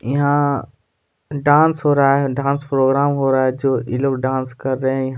यहाँ डांस हो रहा है डांस प्रोग्राम हो रहा है जो ई लोग डांस कर रहे है यहाँ--